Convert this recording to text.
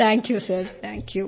thank you sir thank you